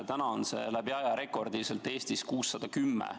Täna on see arv Eestis läbi aja rekordiline 610.